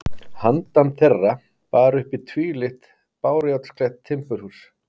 Handan þeirra bar uppi tvílyft bárujárnsklædd timburhús.